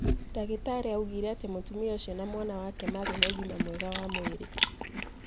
Ndagĩtarĩ augire ati mũtumia ũcio na mwana wake marĩ na ũgima mwega wa mwiri.